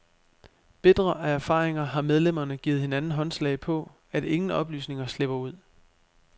Bitre af erfaringer har medlemmerne givet hinanden håndslag på, at ingen oplysninger slipper ud.